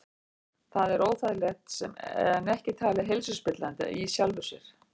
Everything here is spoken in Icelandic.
Þetta er óþægilegt en ekki talið heilsuspillandi í sjálfu sér.